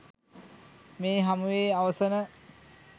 මේ හමුවේ අවසන